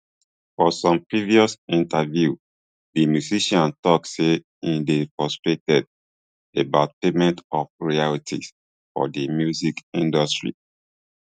for some previous interviews di musician tok say im dey frustrated about payment of royalties for di music industry